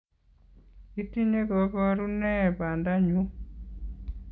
Itinye kaboruno nee bondenyuu?